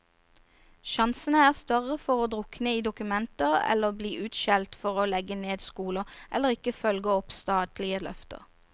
Sjansene er større for å drukne i dokumenter eller bli utskjelt for å legge ned skoler, eller ikke følge opp statlige løfter.